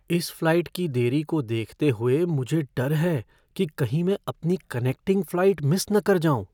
इस फ़्लाइट की देरी को देखते हुए मुझे डर है कि कहीं मैं अपनी कनेक्टिंग फ़्लाइट मिस न कर जाऊँ।